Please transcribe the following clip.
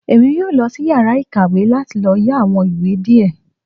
Èmí yóò losí iyàrá ìkàwé láti lò yá àwon ìwé diẹ